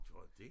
Tror du dét